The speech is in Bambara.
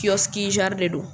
Kiɔski de don.